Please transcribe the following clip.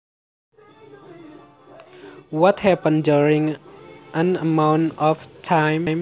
What happens during an amount of time